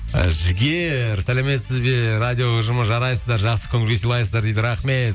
і жігер сәлеметсіз бе радио ұжымы жарайсыздар жақсы көңіл күй сыйлайсыздар дейді рахмет